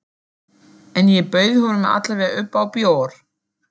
En ég bauð honum alla vega upp á bjór.